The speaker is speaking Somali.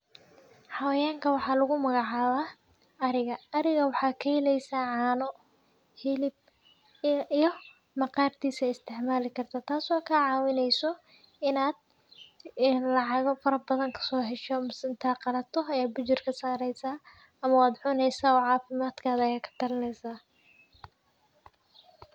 Xaqayankan wxa lagu magacaba ariga, ariga wxa kaheleysa cana hilib, iyo maqarkisa isticmalakarta tas o kacawineysa inad lacaga farabadan kasohesho mise inta qalato ayad bujurka sareysa ama wadcuneysa o cafimadkaga yad katalineysa .